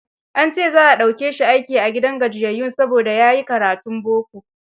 An ce za a dauke shi aiki a gidan gajiyayyun, saboda ya yi karatun boko.